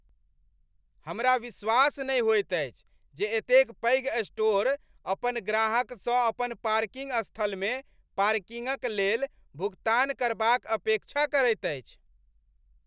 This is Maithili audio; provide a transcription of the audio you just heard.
हमरा विश्वास नहि होयत अछि जे एतेक पैघ स्टोर अपन ग्राहकसँ अपन पार्किंग स्थलमे पार्किंगक लेल भुगतान करबाक अपेक्षा करैत अछि!